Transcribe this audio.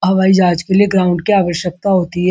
हवाई जहाज के लिए ग्राउंड की आवश्कता होती है।